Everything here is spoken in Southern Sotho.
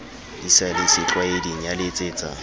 di sa le setlwaeding yaletsetsa